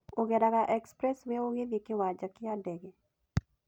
ũgeraga Expressway ũgĩthiĩ kĩwanja kĩa ndege.